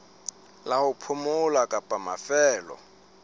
la ho phomola kapa mafelo